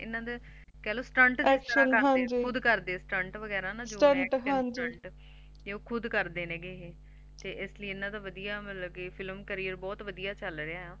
ਇਹਨਾ ਦਾ ਕਹਿਲੋ Stunt Action ਖੁਦ ਕਰਦੇ ਨੇ ਤੇ ਇਸਲਿਏ ਇਹਨਾਂ ਦਾ ਵਦੀਆ Film Career ਬਹੁਤ ਵਧੀਆ ਚਲ ਰਿਆ